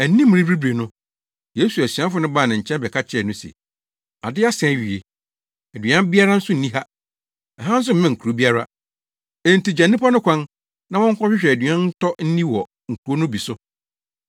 Anim rebiribiri no, Yesu asuafo no baa ne nkyɛn bɛka kyerɛɛ no se, “Ade asa awie. Aduan biara nso nni ha. Ɛha nso mmɛn kurow biara. Enti gya nnipa no kwan, na wɔnkɔhwehwɛ aduan ntɔ nni wɔ nkurow no bi so.”